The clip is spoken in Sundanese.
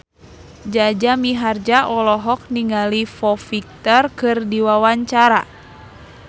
Jaja Mihardja olohok ningali Foo Fighter keur diwawancara